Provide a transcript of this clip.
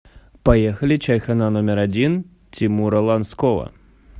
поехали чайхона номер один тимура ланского